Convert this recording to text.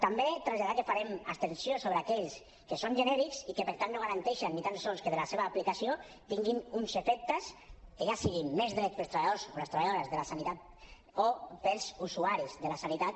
també traslladar que farem abstenció sobre aquells que són genèrics i que per tant no garanteixen ni tan sols que amb la seva aplicació tinguin uns efectes que siguin més drets per als treballadors o les treballadores de la sanitat o per als usuaris de la sanitat